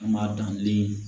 An b'a dan den